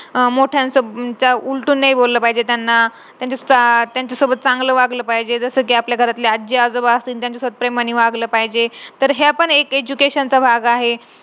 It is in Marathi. पण त्या पोराला जर mentally mentally चांगलं समजावून तु जेवढे marks कडलेत त्याच्यामध्ये तू खुश रहा समाधान रहा.